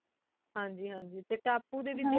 ਹਨ ਜੀ ਹਾਂਜੀ ਟੀ ਤਪੁ ਡੀ ਵੇਚ